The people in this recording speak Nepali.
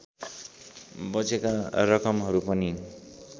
बचेका रकमहरू पनि